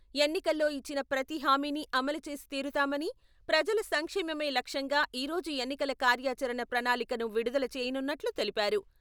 ఎన్నికల్లో ఇచ్చిన ప్రతి హామీని అమలుచేసి తీరుతామని, ప్రజల సంక్షేమమే లక్ష్యంగా ఈరోజు ఎన్నికల కార్యాచరణ ప్రణాళికను విడుదల చేయనున్నట్లు తెలిపారు.